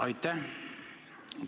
Aitäh!